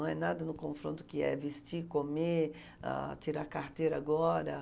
Não é nada no confronto que é vestir, comer, ãh, tirar carteira agora.